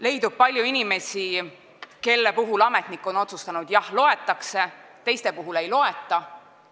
Leidub palju inimesi, kelle puhul on ametnik otsustanud, et jah, loetakse, teiste puhul ei loeta.